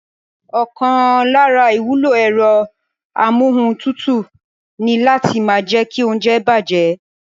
Ọ̀kan lára ìwúlò ẹ̀rọ amúohuntutù ni láti má jẹ́kí óúnjẹ bàjẹ́